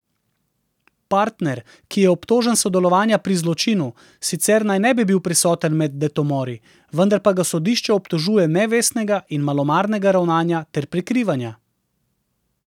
Partner, ki je obtožen sodelovanja pri zločinu, sicer naj ne bi bil prisoten med detomori, vendar pa ga sodišče obtožuje nevestnega in malomarnega ravnanja ter prikrivanja.